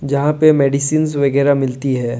यहां पे मेडिसिन वगैरा मिलती है।